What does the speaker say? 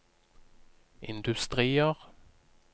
industrier